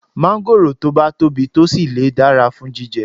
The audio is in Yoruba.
Máńgòrò tó bá tóbi tó sì le dára fún jíjẹ